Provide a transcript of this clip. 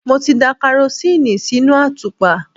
Mo ti da karosíìnì sínú àtùpà.